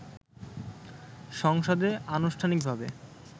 সংসদে আনুষ্ঠানিকভাবে